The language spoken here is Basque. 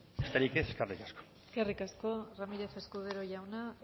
besterik ez eskerrik asko eskerrik asko ramírez escudero jauna